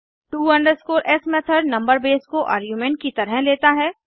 to s method number base को argument की तरह लेता है